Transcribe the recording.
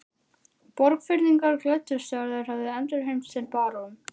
Borgfirðingar glöddust þegar þeir höfðu endurheimt sinn barón.